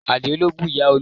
Àdio ló bú Ìyá Olú